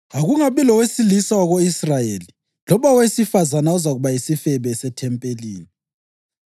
Akungabi lowesilisa wako-Israyeli loba owesifazane ozakuba yisifebe sethempelini.